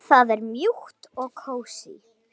Það er mjúkt og kósí.